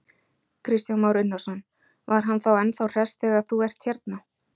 Kristján Már Unnarsson: Var hann þá ennþá hress þegar þú ert hérna?